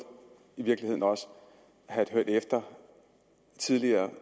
i virkeligheden også have hørt efter tidligere